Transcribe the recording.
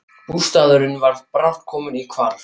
Bústaðurinn var brátt kominn í hvarf.